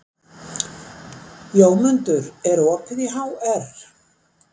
Jómundur, er opið í HR?